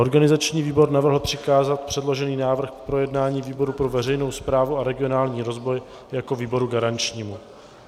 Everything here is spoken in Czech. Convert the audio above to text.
Organizační výbor navrhl přikázat předložený návrh k projednání výboru pro veřejnou správu a regionální rozvoj jako výboru garančnímu.